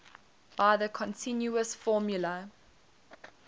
by the continuous formula